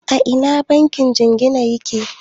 A ina bankin jingina yake?